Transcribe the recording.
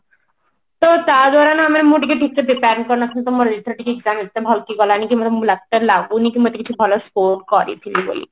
ତ ତାଦ୍ବାରା ନା ମୁଁ ଟିକେ ଠିକ ସେ prepare ହେଇ ପରି ନଥିଲି ତ ଏଥର ମୋର ଟିକେ exam ଏତେ ଭଲ କି ଗଲାନି ମୁଁ ଲାଗୁନି କି ମୁଁ ଏତେ କିଛି ଭଲ score କରିଥିଲି ବୋଲି